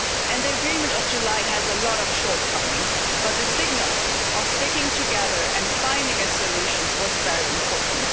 The agreement of July has a lot of shortcomings, but the signal of sticking together and finding a solution was very important.